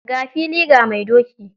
Ga fili, ga mai doki.